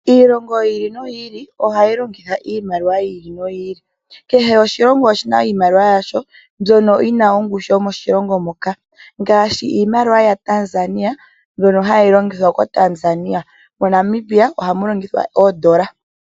Iilongo yi ili noyi ili ohayi longithwa iimaliwa yayoolokathana. Kehe oshilongo oshina iimaliwa yasho mbyono yina owala ongushu moshilongo shoka ngaashi iimaliwa ya Tanzania mbyono hayi longithwa owala mo Tanzania.